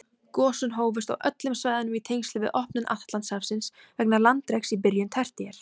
Gosin hófust á öllum svæðunum í tengslum við opnun Atlantshafsins vegna landreks í byrjun tertíer.